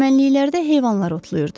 Çəmənliklərdə heyvanlar otlayırdı.